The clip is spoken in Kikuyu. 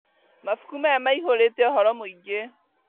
Mabuku maya maihũrĩte ũhoro mũingĩ